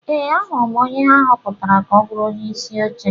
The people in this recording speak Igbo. Ee, ahụrụ m onye ha họpụtara ka ọ bụrụ onyeisi oche.